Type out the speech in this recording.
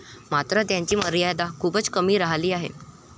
मात्र याची मर्यादा खूपच कमी राहिली आहे.